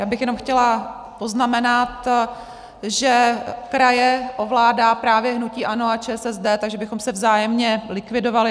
Já bych jenom chtěla poznamenat, že kraje ovládá právě hnutí ANO a ČSSD, takže bychom se vzájemně likvidovali.